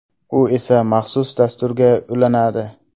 U esa maxsus dasturga ulanadi.